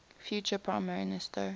future prime minister